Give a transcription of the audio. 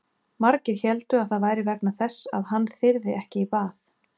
Margir héldu að það væri vegna þess að hann þyrði ekki í bað.